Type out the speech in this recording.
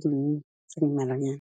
dingwe tse mmalwanyana.